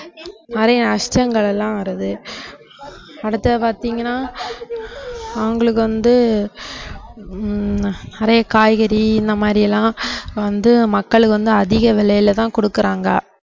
நிறைய நஷ்டங்கள் எல்லாம் வருது அடுத்தது பார்த்தீங்கன்னா அவங்களுக்கு வந்து ஹம் நிறைய காய்கறி இந்த மாதிரி எல்லாம் வந்து மக்களுக்கு வந்து அதிக விலையில தான் கொடுக்கறாங்க